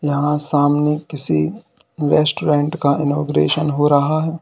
यहां सामने किसी रेस्टोरेंट का इनॉग्रेशन हो रहा है।